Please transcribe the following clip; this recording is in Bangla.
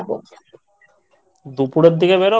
দুপুরের দিকে বেরো